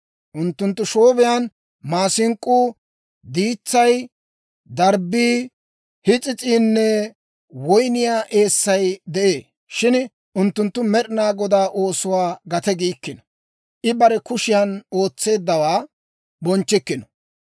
Unttunttu shoobiyaan maasink'k'uu, diitsay, darbbii, his'is'iinne woyniyaa eessay de'ee; shin unttunttu Med'inaa Godaa oosuwaa gate giikkino; I bare kushiyan ootseeddawaa bonchchikkino.